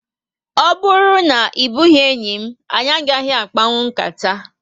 O bụrụ na ebughi enyị m, anyị agaghị akpanwu nkata